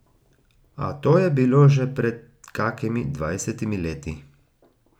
A to je bilo že pred kakimi dvajsetimi leti.